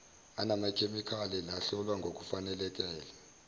anamakhemikhali lahlolwa ngokufaneleka